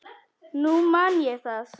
Nú man ég það!